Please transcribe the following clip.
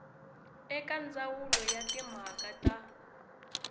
eka ndzawulo ya timhaka ta